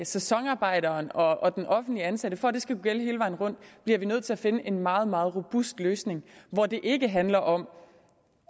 sæsonarbejderen og og den offentligt ansatte for at det skal kunne gælde hele vejen rundt bliver vi nødt til at finde en meget meget robust løsning hvor det ikke handler om